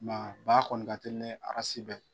Nka ba kɔni ka teli ni bɛɛ